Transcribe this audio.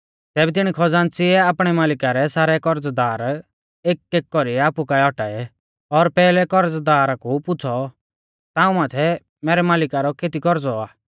तैबै तिणी खज़ान्च़ीऐ आपणै मालिका रै सारै करज़दार एकएक कौरीऐ आपु काऐ औटाऐ और पैहलै करज़दारा कु पुछ़ौ ताऊं माथै मैरै मालिका रौ केती कौरज़ौ आ